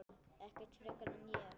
Ekkert frekar en ég.